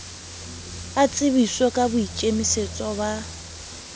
a tsebiswe ka boikemisetso ba